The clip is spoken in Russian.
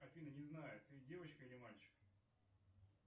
афина не знаю ты девочка или мальчик